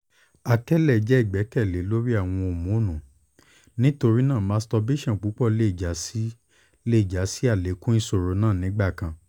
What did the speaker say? akẹlẹ jẹ igbẹkẹle lori awọn homonu nitorinaa masturbation pupọ le ja si le ja si alekun iṣoro naa nigbakan